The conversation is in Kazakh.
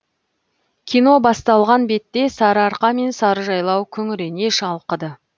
кино басталған бетте сары арқа мен сарыжайлау күңірене шалқыды